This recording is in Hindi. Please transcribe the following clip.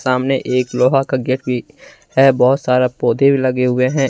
सामने एक लोहा का गेट भी है बहुत सारा पौधे भी लगे हुए हैं।